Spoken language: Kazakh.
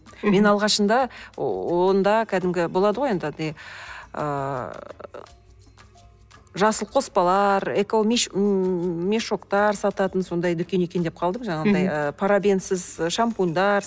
мен алғашында онда кәдімгі болады ғой енді андай ыыы жасыл қоспалар мешоктар сататын сондай дүкен екен деп қалдым жаңағындай ы парабенсіз шампуньдар